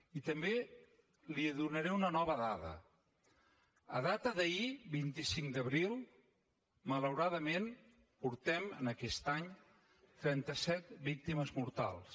i també li donaré una nova dada en data d’ahir vint cinc d’abril malauradament portem en aquest any trenta set víctimes mortals